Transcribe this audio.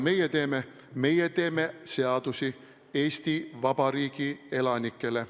Meie teeme seadusi Eesti Vabariigi elanikele.